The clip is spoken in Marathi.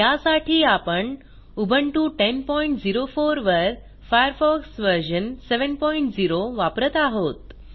यासाठी आपण उबुंटू 1004 वर फायरफॉक्स व्हर्शन 70 वापरत आहोत